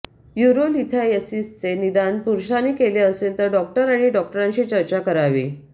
युरोलिथायसिसचे निदान पुरुषाने केले असेल तर डॉक्टर आणि डॉक्टरांशी चर्चा करावी